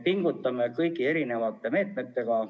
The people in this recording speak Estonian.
Pingutame kõigi meetmetega.